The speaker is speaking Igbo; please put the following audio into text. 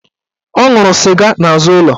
Ọ nwụrụ sịga n'azụ ụlọ